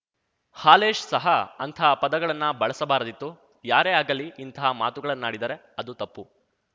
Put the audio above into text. ಹಾಲೇಶ್‌ ಸಹ ಅಂತಹ ಪದಗಳನ್ನು ಬಳಸಬಾರದಿತ್ತು ಯಾರೇ ಆಗಲಿ ಇಂತಹ ಮಾತುಗಳನ್ನಾಡಿದರೆ ಅದು ತಪ್ಪು